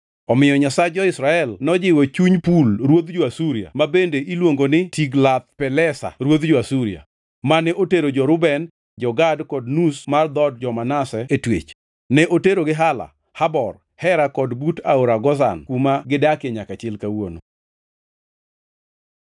Omiyo Nyasach jo-Israel nojiwo chuny Pul ruodh jo-Asuria (ma bende iluongo ni Tiglath-Pilesa ruodh jo-Asuria), mane otero jo-Reuben, jo-Gad, kod nus mar dhood jo-Manase e twech. Ne oterogi Hala, Habor, Hera kod but aora Gozan kuma gidakie nyaka chil kawuono.